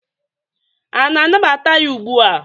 a na-anabata ya ugbu a?